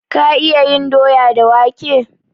Ka iyana cin doya da wake?